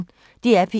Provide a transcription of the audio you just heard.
DR P1